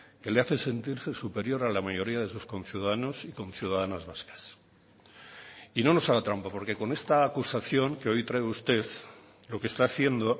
que le hace sentirse superior a la mayoría de sus conciudadanos y conciudadanas vascas y no nos haga trampa porque con esta acusación que hoy trae usted lo que está haciendo